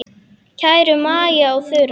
Kæru Maja og Þura.